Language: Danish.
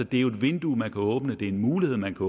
det er jo et vindue man kan åbne det er en mulighed man kan